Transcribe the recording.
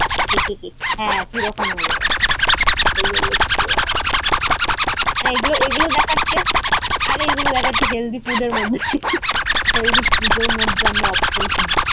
হ্যাঁ, কিরকম হয়ে যাবে। হ্যাঁ, এইগুল এইগুল দেখাচ্ছে। আরে এগুল দেখাচ্ছে healthy food মধ্যে। healthy food মধ্যে আমরা option খুচ্ছি।